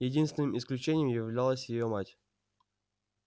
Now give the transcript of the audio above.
единственным исключением являлась её мать